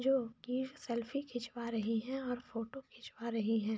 जो की स्लेफी खिचवा रहे है और फोटो खिचवा रहे है।